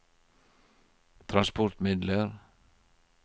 transportmidler